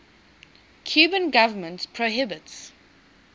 cuban government prohibits